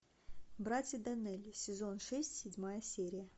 братья доннелли сезон шесть седьмая серия